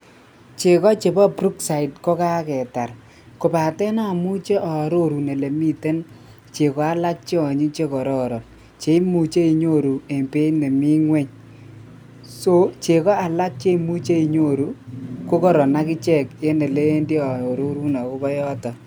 Cheko chebo brookside kokaketar kobate amuche aororun ole miten cheko alak che anyiny che kororon cheimuche inyoru eng beeit nemi ingwony, so cheko alak che imuche inyoru kokaron akiche eng olewendi aarorun akobo yoto.